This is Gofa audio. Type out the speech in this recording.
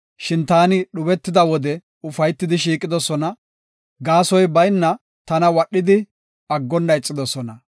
Shin taani dhubetida wode ufaytidi shiiqidosona; gaasoy bayna tana wadhidi, aggonna ixidosona.